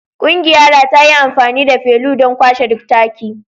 Ƙungiyara ta yi amfani da felu don kwashe duk taki